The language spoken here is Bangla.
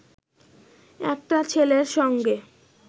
একটা ছেলের সঙ্গে